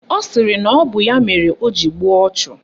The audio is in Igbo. Ọ sịrị na ọ bụ ya mere o ji gbuo ọchụ